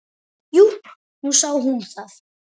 Jú, nú sá hún það.